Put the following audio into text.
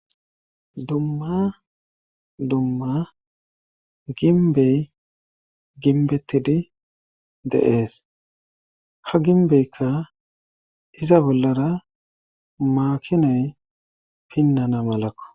Dumma dumma ginbey ginbetidi deees ha ginbeykka iza bollara maakinay pinnana malakko